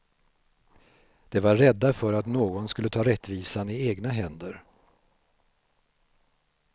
De var rädda för att någon skulle ta rättvisan i egna händer.